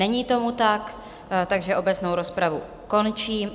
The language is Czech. Není tomu tak, takže obecnou rozpravu končím.